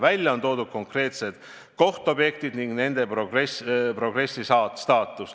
Välja on toodud konkreetsed kohtobjektid ja nende progress.